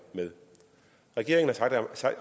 med regeringen